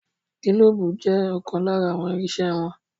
Gílóóbù jẹ́ ọ̀kan lára àwọn irinsẹ́ wọn